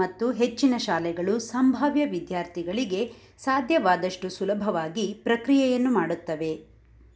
ಮತ್ತು ಹೆಚ್ಚಿನ ಶಾಲೆಗಳು ಸಂಭಾವ್ಯ ವಿದ್ಯಾರ್ಥಿಗಳಿಗೆ ಸಾಧ್ಯವಾದಷ್ಟು ಸುಲಭವಾಗಿ ಪ್ರಕ್ರಿಯೆಯನ್ನು ಮಾಡುತ್ತವೆ